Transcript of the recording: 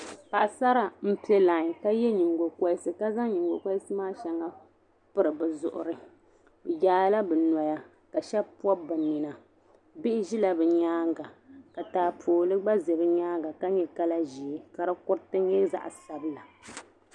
Paɣasara n pɛ laain ka ye nyiŋgo koriti ka zaŋ nyiŋgo koriti maa shaŋa n piri bɛzuɣuri. bɛ yaala bɛnɔya ka shabi pɔbi bɛ nina bihi ʒila bɛ nyaaŋa ka taapooli gba ʒɛ bɛ nyaaŋa ka nyɛ kala ʒɛɛ ka di kuriti nyɛ zaɣi sabila